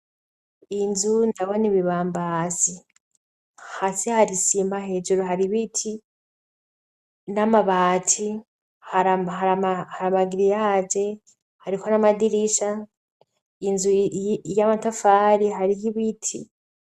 Inzu ndabona bibambasi hasj hari sima hejuru hari ibiti n'amabati haramagiriyage hariho n'amadirisha inzu y'amatafari hari ho ibiti.